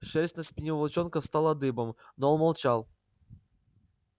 шерсть на спине у волчонка встала дыбом но он молчал